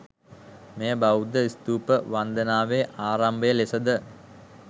මෙය බෞද්ධ ස්තූප වන්දනාවේ ආරම්භය ලෙසද